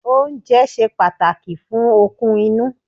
Oúnjẹ ṣe pàtàkì fún okun inú.